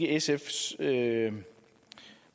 sfs